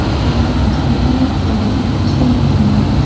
Albatta, kameralar joriy etilishi yordam beradi.